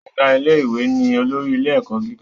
Ọ̀gá ilé ìwé ni olórí ilé ẹ̀kọ́ gíga